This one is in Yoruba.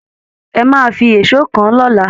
Ẹ máà fí èṣó kàn-àn lọ́la